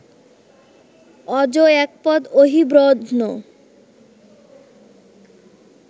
অজ, একপদ, অহিব্রধ্ন